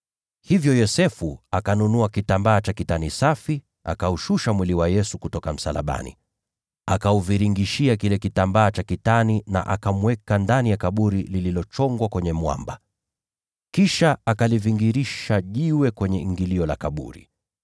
Hivyo Yosefu akanunua kitambaa cha kitani safi, akaushusha mwili kutoka msalabani, akaufunga katika kile kitambaa cha kitani, na kuuweka ndani ya kaburi lililochongwa kwenye mwamba. Kisha akavingirisha jiwe kwenye ingilio la kaburi.